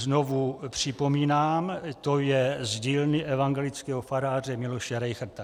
- Znovu připomínám, to je z dílny evangelického faráře Miloše Rejchrta.